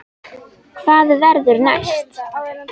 Hvað verður næst?